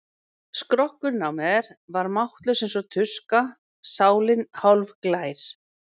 Skrokkurinn á mér var máttlaus eins og tuska og sálin hálfglær.